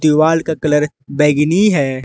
दीवाल का कलर बैगनी है।